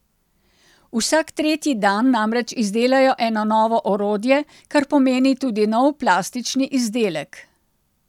Vsak tretji dan namreč izdelajo eno novo orodje, kar pomeni tudi nov plastični izdelek.